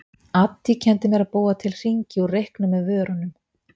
Addý kenndi mér að búa til hringi úr reyknum með vörunum.